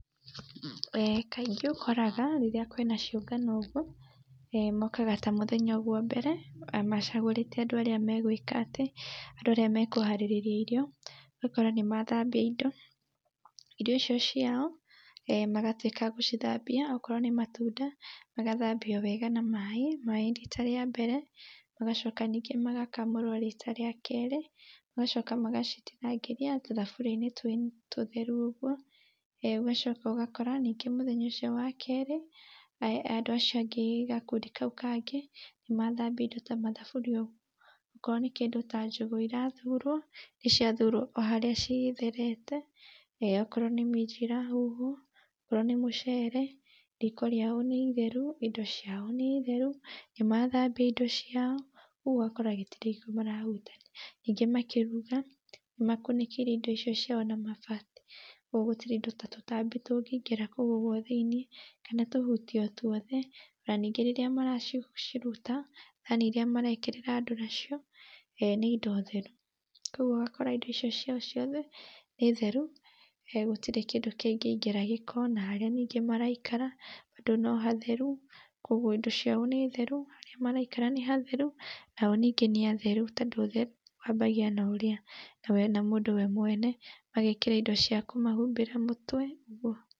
Kaĩngĩ ũkoraga rĩrĩa kwĩna cĩũngano ũguo, mokaga ta mũthenya wa mbere macagũrĩte andũ arĩa megwĩka atĩ andũ arĩa mekũharĩrĩria irio ũgakora nĩmathambia indo, irio icio ciao magatwĩka gũcithambia okorwo nĩ matunda magathambia wega na maĩ , maĩ rita ria mbere magacoka ningĩ magakamũrwo rita ria kerĩ, magacoka magacitinangĩrĩa tũthaburia-inĩ tũtherũ ũguo, ũgacoka ũgakora nĩngĩ mũthenya ũcio wa kerĩ, andũ acio angĩ gakundi kau kangĩ nĩmathambia indo ta mathaburia ũguo, okorwo nĩ kĩndũ ta njũgũ irathurwo, irathurwo oharia citherete, okorwo nĩ minji irahuhwo, okorwo nĩ mũcere, rĩko rĩao nĩ itheru, indo ciao nĩ theru, nĩmathambia indo ciao rĩu ũgakora gũtirĩ marahutania, ningĩ makĩruga nĩmakunĩkĩirie indo icio ciao na mabati, kwa ũguo gũtĩrĩ indo ta tũtambi tũngĩingĩra kũũ thĩiniĩ, kana tũhũtĩ o twothe, na ningĩ rĩrĩa maraciruta thani iria marekĩrĩra andũ nacio, nĩ indo theru, kwa ũguo ũgakora indo icio ciao ciothe nĩ theru gũtĩrĩ kĩndũ kĩngĩingĩra gĩko, na harĩa nĩngĩ maraikara bado no hatheru kuguo indo ciao nĩ theru, harĩa maraikara nĩ hatheru, nao ningĩ nĩ atheru, tondũ ũtheru wambagia na mũndũ we mwene, magekĩra indo cia kũmahũmbĩra mũtwe ũguo.